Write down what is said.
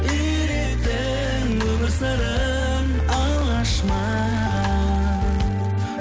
үйреттің өмір сырын алғаш маған